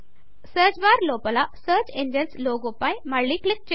search bar లోపల search engine logo పై మళ్ళి క్లిక్ చేయండి